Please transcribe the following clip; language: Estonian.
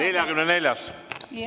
44. ettepanek.